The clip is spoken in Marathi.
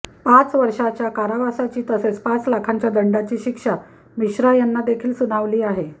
पाच वर्षाच्या कारावासाची तसेच पाच लाखांच्या दंडाची शिक्षा मिश्रा यांना देखील सुनावली आहे